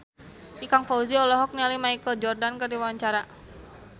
Ikang Fawzi olohok ningali Michael Jordan keur diwawancara